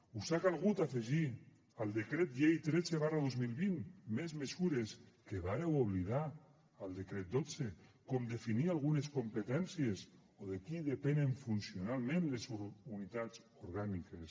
us ha calgut afegir al decret llei tretze dos mil vint més mesures que vàreu oblidar al decret dotze com definir algunes competències o de qui depenen funcionalment les unitats orgàniques